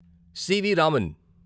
CV. Raman